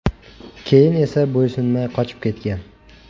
Keyin esa bo‘ysunmay qochib ketgan.